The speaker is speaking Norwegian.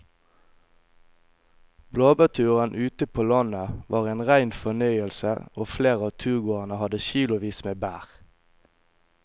Blåbærturen ute på landet var en rein fornøyelse og flere av turgåerene hadde kilosvis med bær.